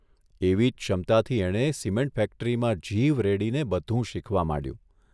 એવી જ ક્ષમતાથી એણે સિમેન્ટ ફેક્ટરીમાં જીવ રેડીને બધું શીખવા માંડ્યું.